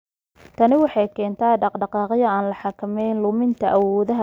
Tani waxay keentaa dhaqdhaqaaqyo aan la xakamayn, luminta awoodaha garaadka, iyo khalkhal shucuureed.